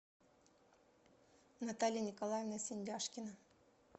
наталья николаевна синдяшкина